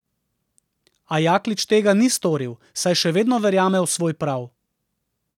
A Jaklič tega ni storil, saj še vedno verjame v svoj prav.